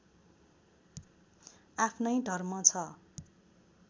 आफ्नै धर्म छ